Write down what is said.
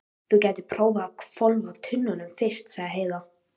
Þú gætir prófað að hvolfa tunnunum fyrst, sagði Heiða.